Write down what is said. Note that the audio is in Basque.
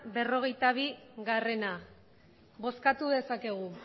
berrogeita bia bozkatu dezakegu